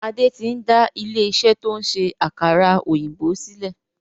Adé tí n da ilé iṣẹ́ to ń ṣe àkàrà òyìnbó sílẹ̀.